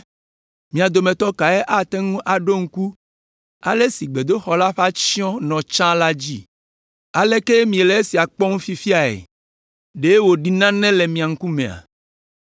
‘Mia dometɔ kae ate ŋu aɖo ŋku ale si gbedoxɔ la ƒe atsyɔ̃ nɔ tsã la dzi? Aleke miele esia kpɔm fifiae? Ɖe wòɖi nane le mia ŋkumea?